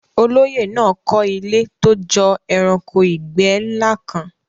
Olóyè náà kọ́ ilé tó jọ ẹranko ìgbẹ́ ńlá kan.